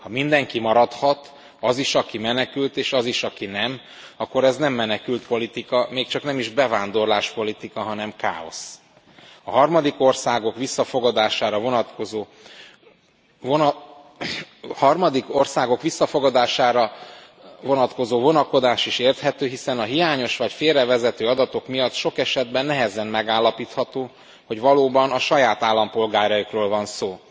Ha mindenki maradhat, az is, aki menekült és az is, aki nem, akkor ez nem menekültpolitika, még csak nem is bevándorláspolitika, hanem káosz. A harmadik országok visszafogadásra vonatkozó vonakodása is érthető, hiszen a hiányos vagy félrevezető adatok miatt sok esetben nehezen állapítható meg, hogy valóban a saját állampolgáraikról van e szó.